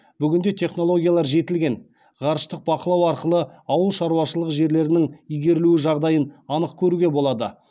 бүгінде технологиялар жетілген ғарыштық бақылау арқылы ауыл шаруашылығы жерлерінің игерілуі жағдайын анық көруге болады